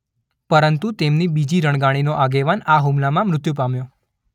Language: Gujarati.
પરંતુ તેમની બીજી રણગાડીનો આગેવાન આ હુમલામાં મૃત્યુ પામ્યો.